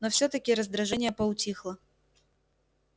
но всё-таки раздражение поутихло